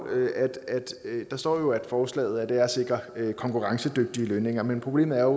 der står at forslaget at sikre konkurrencedygtige lønninger men problemet er